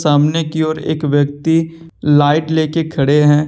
सामने की ओर एक व्यक्ति लाइट लेके खड़े हैं।